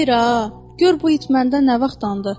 Xeyr ha, gör bu it məndə nə vaxtdı.